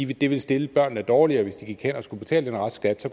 ville stille børnene dårligere hvis den restskat